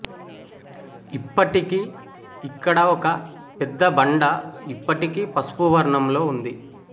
ఇప్పటికీ ఇక్కడ ఒక పెద్ద బండ ఇప్పటికీ పసుపు వర్ణంలో ఉంది